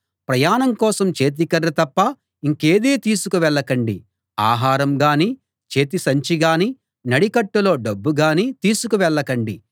ప్రయాణం కోసం చేతికర్ర తప్ప ఇంకేదీ తీసుకు వెళ్ళకండి ఆహారం గాని చేతి సంచిగాని నడికట్టులో డబ్బుగాని తీసుకు వెళ్ళకండి